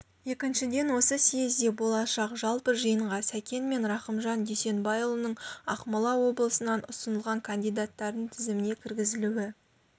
екіншіден осы съезде болашақ жалпы жиынға сәкен мен рахымжан дүйсенбайұлының ақмола облысынан ұсынылған кандидаттардың тізіміне кіргізілуі